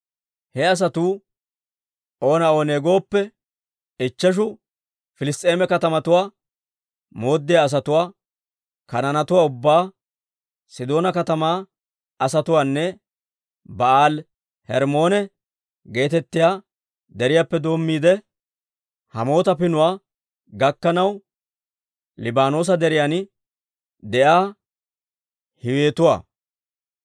He asatuu oona oonee gooppe, ichcheshu Piliss's'eema katamatuwaa mooddiyaa asatuwaa, Kanaanetuwaa ubbaa, Sidoona katamaa asatuwaanne Ba'aali-Hermmoone geetettiyaa deriyaappe doommiide, Hamaata Pinuwaa gakkanaw Libaanoosa Deriyan de'iyaa Hiiwetuwaa.